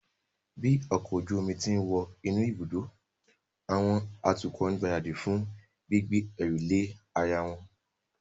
Bí ọkọ̀ ojú omi ti ń wọ inú ibùdó, àwọn atukọ̀ ń gbáradì fún gbígbé ẹrù lé ara wọn